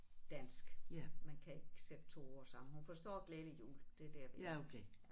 Dansk men kan ikke sætte 2 ord sammen hun forstår glædelig jul det er der vi er ja